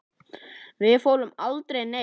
Við fórum aldrei neitt.